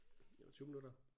Det var 20 minutter